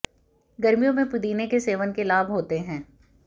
गर्मियों में पुदीने के सेवन के लाभ होते है